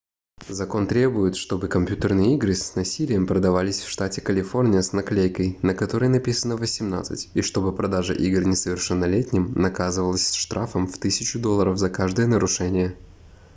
закон требует чтобы компьютерные игры c насилием продавались в штате калифорния с наклейкой на которой написано 18 и чтобы продажа игр несовершеннолетним наказывалась штрафом в 1000 долларов за каждое нарушение